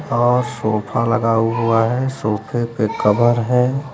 और सोफा लगा हुआ है सोफे पे कवर है।